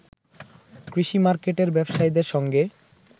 কৃষি মার্কেটের ব্যবসায়ীদের সঙ্গে